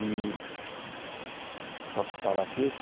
E... (celular tocando) Posso parar aqui?